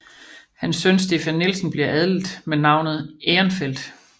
Hans søn Stefan Nielsen bliver adlet med navnet Ehrenfeldt